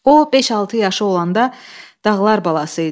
O beş-altı yaşı olanda dağlar balası idi.